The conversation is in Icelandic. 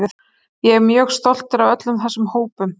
Ég er mjög stoltur af öllum þessum hópum.